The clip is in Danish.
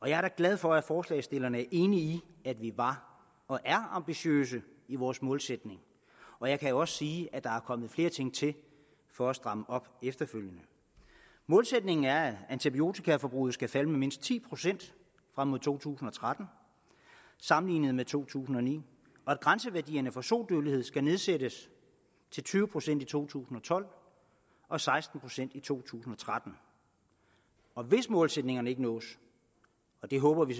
jeg er da glad for at forslagsstillerne er enige i at vi var og er ambitiøse i vores målsætning og jeg kan også sige at der efterfølgende er kommet flere ting til for at stramme op målsætningen er at antibiotikaforbruget skal falde med mindst ti procent frem mod to tusind og tretten sammenlignet med to tusind og ni og at grænseværdierne for sodødeligeheden skal nedsættes til tyve procent i to tusind og tolv og seksten procent i to tusind og tretten hvis målsætningerne ikke nås og det håber vi